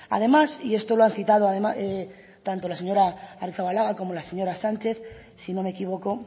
además y esto lo han citado tanto la señora arrizabalaga como la señora sánchez si no me equivoco